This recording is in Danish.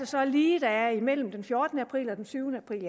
så lige der er imellem den fjortende april og den tyvende april